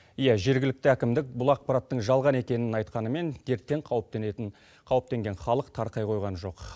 иә жергілікті әкімдік бұл ақпараттың жалған екенін айтқанымен дерттен қауіптенген халық тарқай қойған жоқ